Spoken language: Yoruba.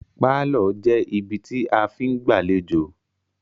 Pálọ̀ jẹ́ ibi tí a fí ń gbàléjọ̀